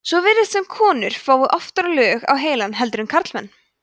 svo virðist sem konur fái oftar lög á heilann heldur en karlmenn